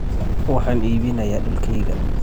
Waxaan iibinayaa dhulkayga.